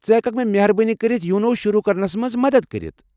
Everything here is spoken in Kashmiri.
ژٕ ہٮ۪ککھٕ مےٚ مہربٲنی كرِتھ یونو شروٗع کرنس منٛز مدتھ کٔرِتھ؟